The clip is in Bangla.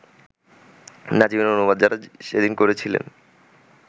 নাজিমের অনুবাদ যাঁরা সেদিন করেছিলেন